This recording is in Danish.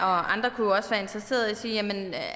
andre være interesseret i